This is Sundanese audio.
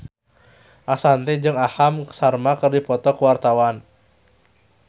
Ashanti jeung Aham Sharma keur dipoto ku wartawan